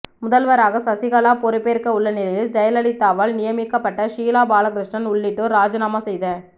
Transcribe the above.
முதல்வராக சசிகலா பொறுபேற்க உள்ள நிலையில் ஜெயலலிதாவால் நியமிக்கப்பட்ட ஷீலா பாலகிருஷ்ணன் உள்ளிட்டோர் ராஜினாமா செய்த